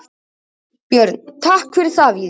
Björn: Takk fyrir það Víðir.